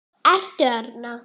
Ertu þarna?